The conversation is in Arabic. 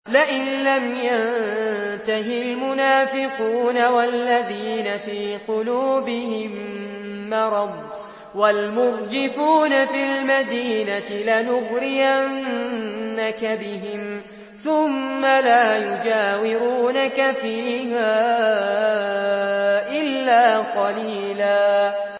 ۞ لَّئِن لَّمْ يَنتَهِ الْمُنَافِقُونَ وَالَّذِينَ فِي قُلُوبِهِم مَّرَضٌ وَالْمُرْجِفُونَ فِي الْمَدِينَةِ لَنُغْرِيَنَّكَ بِهِمْ ثُمَّ لَا يُجَاوِرُونَكَ فِيهَا إِلَّا قَلِيلًا